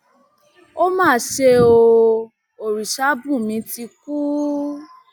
ó má ṣe ọ orìṣàbùnmí ti kú